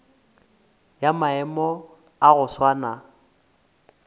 ya maemo a go swana